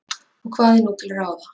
Og hvað er nú til ráða?